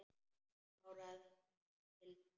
Kláraðu þessa pylsu.